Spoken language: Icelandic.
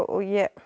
ég